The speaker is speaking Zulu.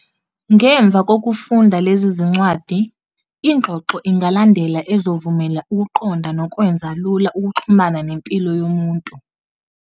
Ngemva kokufunda lezi zincwadi, ingxoxo ingalandela ezovumela ukuqonda nokwenza lula ukuxhumana nempilo yomuntu.